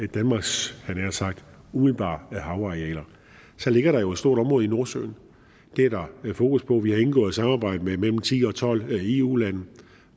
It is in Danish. danmarks umiddelbare havarealer så ligger der jo et stort område i nordsøen det er der fokus på vi har indgået et samarbejde med mellem ti og tolv eu lande